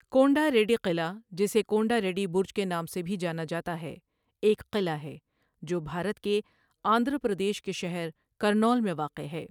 کونڈا ریڈی قلعہ جسے کونڈا ریڈی برج کے نام سے بھی جانا جاتا ہے ایک قلعہ ہے جو بھارت کے آندھرا پردیش کے شہر کرنول میں واقع ہے۔